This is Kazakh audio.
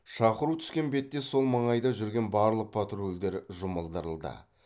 шақыру түскен бетте сол маңайда жүрген барлық патрульдер жұмылдырылды